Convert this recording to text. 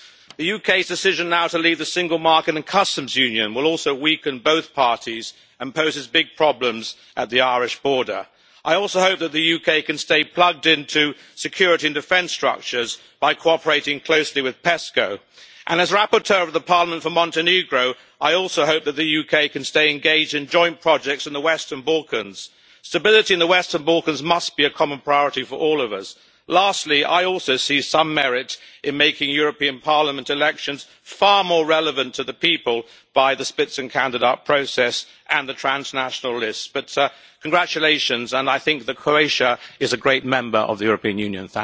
The UK's decision now to leave the single market and customs union will also weaken both parties, and poses big problems at the Irish border. I also hope that the UK can stay plugged into security and defence structures by cooperating closely with PESCO, and as rapporteur of the Parliament for Montenegro, I also hope that the UK can stay engaged in joint projects in the Western Balkans. Stability in the Western Balkans must be a common priority for all of us. Lastly, I also see some merit in making European Parliament elections far more relevant to the people by the Spitzenkandidat process and the transnational lists. Congratulations, and I think that Croatia is a great member of the European Union.